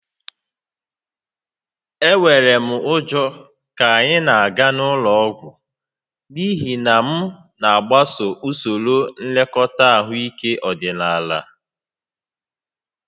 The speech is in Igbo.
Enwere m ụjọ ka anyị na-aga ụlọ ọgwụ n'ihi na m na-agbaso usoro nlekọta ahụike ọdịnaala